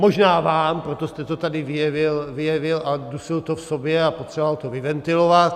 Možná vám, proto jste to tady vyjevil a dusil to v sobě a potřeboval to vyventilovat.